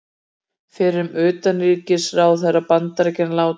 Fyrrum utanríkisráðherra Bandaríkjanna látinn